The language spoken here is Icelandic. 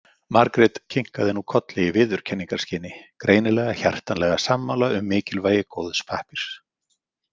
Margrét kinkaði nú kolli í viðurkenningarskyni, greinilega hjartanlega sammála um mikilvægi góðs pappírs.